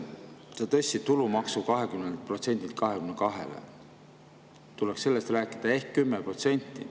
Te tõstsite tulumaksu 20%-lt 22%-le – tuleks sellest rääkida – ehk 10%.